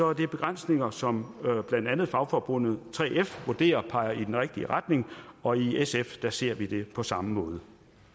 er det begrænsninger som blandt andet fagforbundet 3f vurderer peger i den rigtige retning og i sf ser vi på det på samme måde